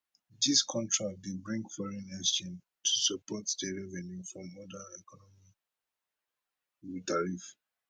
dis contracts dey bring foreign exchange to support di revenue from oda economic tariffs